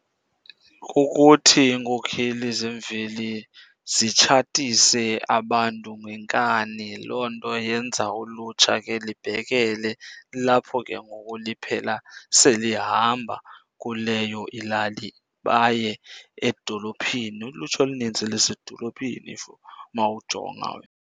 Kukuthi iinkokheli zemveli zitshatise abantu ngenkani. Loo nto yenza ulutsha ke libhekele. Kulapho ke ngoku liphela selihamba kuleyo ilali baye edolophini. Ulutsha olunintsi lisedolophini umawujonga.